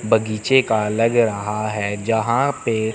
बगीचे का लग रहा है जहां पे--